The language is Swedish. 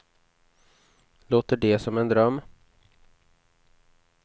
Låter det som en dröm?